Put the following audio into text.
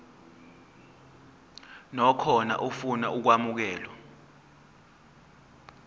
nakhona ofuna ukwamukelwa